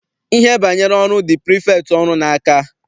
Ihe banyere ọrụ dị prifektị ọrụ n'aka.